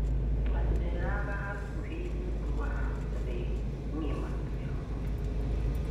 Twaceraga bakubĩ nuthu wa thĩĩ ngima twi hamwe